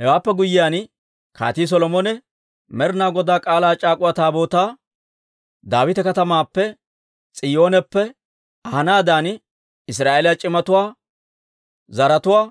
Hewaappe guyyiyaan, Kaatii Solomone Med'inaa Godaa K'aalaa c'aak'uwa Taabootaa Daawita Katamaappe, S'iyooneppe ahanaadan Israa'eeliyaa c'imatuwaa, zaratuwaa